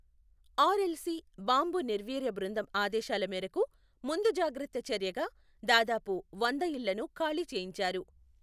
RL C బాంబు నిర్వీర్య బృందం ఆదేశాల మేరకు ముందు జాగ్రత్త చర్యగా దాదాపు వంద ఇళ్లను ఖాళీ చేయించారు.